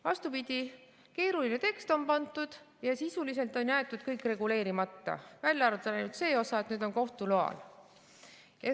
Vastupidi, keeruline tekst on tehtud ja sisuliselt on jäetud kõik reguleerimata, välja arvatud ainult see osa, et nüüd saab kohtu loal.